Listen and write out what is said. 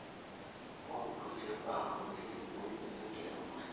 oookulie baa kulie nainyal enkiremore.